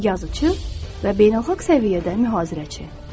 Yazıçı və beynəlxalq səviyyədə mühazirəçi.